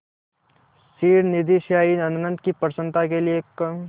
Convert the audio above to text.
क्षीरनिधिशायी अनंत की प्रसन्नता के लिए क्